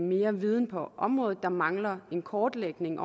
mere viden på området der mangler en kortlægning